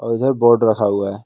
इधर बोर्ड रखा हुआ है।